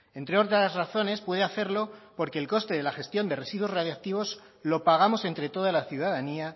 entre otras razones puede hacerlo porque el coste de la gestión de residuos radiactivos lo pagamos entre toda la ciudadanía